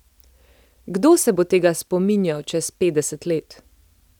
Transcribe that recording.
Kdo se bo tega spominjal čez petdeset let?